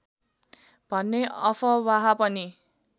भन्ने अफवाह पनि